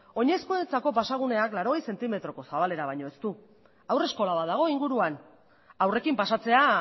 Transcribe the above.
oinezkoentzako pasagunea laurogei zentimetroko zabalera baino ez du haurreskola bat dago inguruan haurrekin pasatzea